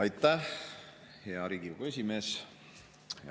Aitäh, hea Riigikogu esimees!